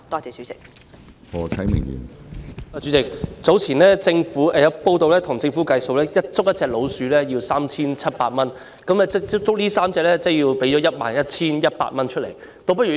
主席，早前有報道指稱，政府要捕捉1隻老鼠需支付 3,700 元，那麼如果要捕捉3隻，便需支付 11,100 元。